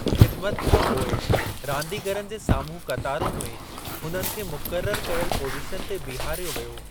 ख़िदिमत खां पोइ रांदीगरनि जे साम्हूं क़तारुनि में हुननि खे मुक़ररु कयल पोज़ीशन ते बीहारियो वियो।